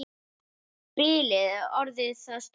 Bilið er orðið það stórt.